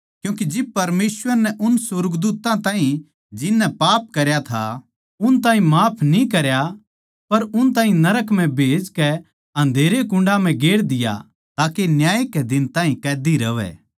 क्यूँके जिब परमेसवर नै उन सुर्गदूत्तां ताहीं जिननै पाप करया था उन ताहीं माफ न्ही करया पर उन ताहीं नरक म्ह भेजकै अँधेरे कुण्डां म्ह गेर दिया ताके न्याय कै दिन ताहीं कैदी रहवै